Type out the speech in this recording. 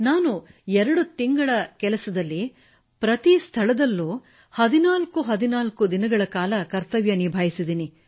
ನಾನು 2 ತಿಂಗಳ ಕೆಲಸದಲ್ಲಿ ಪ್ರತಿ ಸ್ಥಳದಲ್ಲೂ 1414 ದಿನಗಳ ಕಾಲ ಕರ್ತವ್ಯ ನಿಭಾಯಿಸಿದ್ದೇನೆ